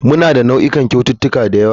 Muna da nau'ikan kyaututtuka da yawa.